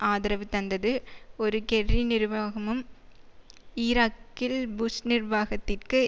ஆதரவு தந்தது ஒரு கெர்ரி நிர்வாகமும் ஈராக்கில் புஷ் நிர்வாகத்திற்கு